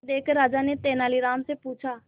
यह देखकर राजा ने तेनालीराम से पूछा